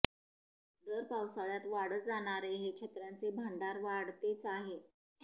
दर पावसाळ्यात वाढत जाणारे हे छत्र्यांचे भांडार वाढतेच आहे